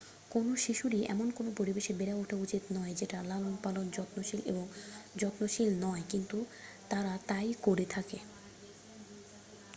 কোনো শিশুরই এমন কোনো পরিবেশে বেড়ে ওঠা উচিত নয় যেটা লালন-পালন ,যত্নশীল এবং যত্নশীল নয় ,কিন্তু তারা তাই করে থাকে।